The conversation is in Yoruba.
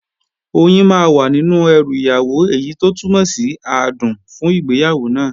Oyin máa wà nínú ẹrù ìyàwó, èyí tó túmọ̀ sí adùn fún ìgbéyàwó náà